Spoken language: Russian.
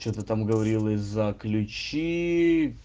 что-то там говорила и за ключи